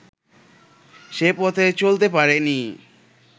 সে পথে চলতে পারে নি